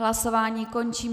Hlasování končím.